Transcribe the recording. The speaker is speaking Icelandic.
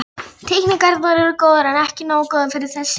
Teikningarnar eru góðar, en ekki nógu góðar fyrir þessi ljóð.